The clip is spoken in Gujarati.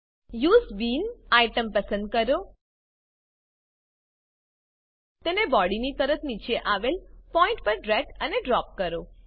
યુએસઇ બીન આઈટમ પસંદ કરો તેને બોડીની તરત નીચે આવેલ પોઈન્ટ પર ડ્રેગ અને ડ્રોપ કરો